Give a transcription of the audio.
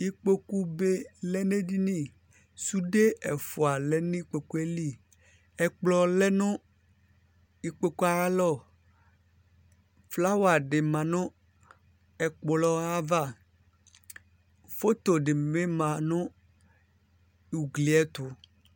ikpokube lɛnɛdini sude ɛfua lenikpokueli ɛkplɔ lɛnu ikpokuayalɔ flawadi mɑnu ɛkploayava photo dibi mɑ nu uglietu